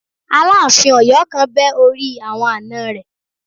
Aláàfin Ọyọ kan bẹ́ orí àwọn àna rẹ̀